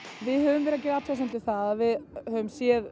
við höfum verið að gera athugasemdir við það að við höfum séð